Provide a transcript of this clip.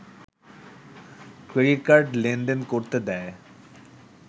credit card লেনদেন করতে দেয়